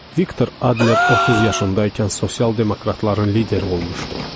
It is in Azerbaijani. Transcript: Viktor Adler 30 yaşında ikən sosial demokratların lideri olmuşdu.